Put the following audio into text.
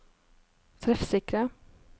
treffsikre